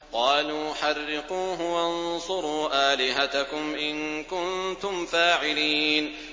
قَالُوا حَرِّقُوهُ وَانصُرُوا آلِهَتَكُمْ إِن كُنتُمْ فَاعِلِينَ